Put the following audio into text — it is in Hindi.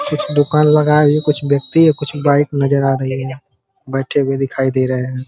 कुछ दुकान लगाए हुए हैं। कुछ व्यक्ति और कुछ बाइक नजर आ रही हैं। बैठे हुए दिखाई दे रहे हैं।